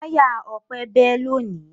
Táyà Ọpẹ́ bẹ́ lónìí.